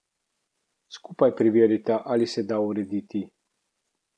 Skupaj preverita, ali se da urediti.